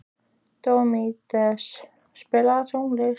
Díómedes, spilaðu tónlist.